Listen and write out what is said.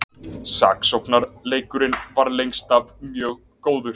Sóknarleikurinn var lengst af mjög góður